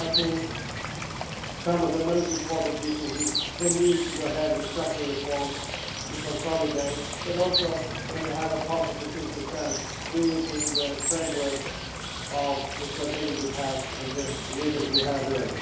And I think some of the most important issues are the need to go ahead with structural reforms, to consolidate, but also when you have a positive fiscal stance to do it in the framework of the Stability Pact and the limits we have there.